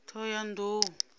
thohoyandou